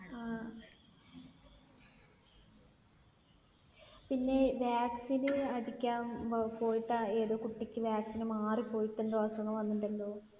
പിന്നെ vaccine അടിക്കാൻ പോയിട്ട് ഏതോ കുട്ടിക്ക് vaccine മാറിപ്പോയിട്ട് എന്തോ അസുഖം വന്നിട്ടുണ്ടല്ലോ.